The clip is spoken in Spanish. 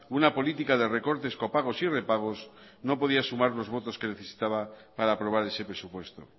una política de recortes copagos y repagos no ponía sumar los votos que necesitaba para aprobar ese presupuesto